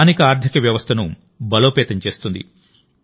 స్థానిక ఆర్థిక వ్యవస్థను బలోపేతం చేస్తుంది